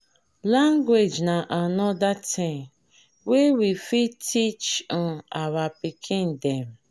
language na anoda thing wey we fit teach um our pikin dem